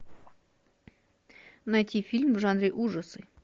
найти фильм в жанре ужасы